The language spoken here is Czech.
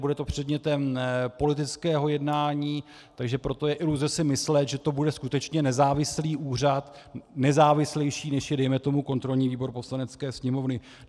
Bude to předmětem politického jednání, takže proto je iluze si myslet, že to bude skutečně nezávislý úřad, nezávislejší, než je dejme tomu kontrolní výbor Poslanecké sněmovny.